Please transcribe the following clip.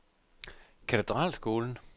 Katedralskolen